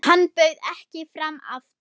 Hann bauð ekki fram aftur.